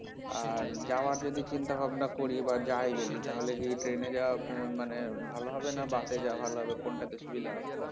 আর যাওয়ার যদি চিন্তা ভাবনা করি বা যাই যদি তাহলে কি train এ যাওয়া মানে ভালো হবে না bus যাওয়া ভালো হবে কোনটা তে সুবিধা হবে?